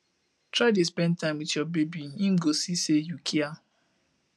try dey spend time wit yur baby em go see sey yu kia